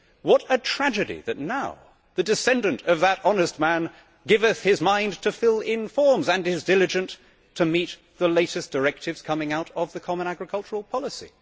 What a tragedy that now the descendant of that honest man giveth his mind to fill in forms and is diligent to meet the latest directives coming out of the Common Agricultural Policy.